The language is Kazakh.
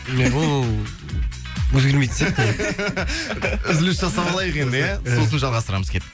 ол өзгермейтін сияқты үзіліс жасап алайық енді иә сосын жалғастырамыз кеттік